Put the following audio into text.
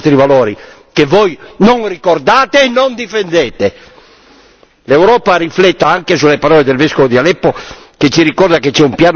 L'Europa rifletta anche sulle parole del vescovo di Aleppo che ci ricorda che c'è un piano segreto internazionale dietro a questa avanzata di queste forze riunite.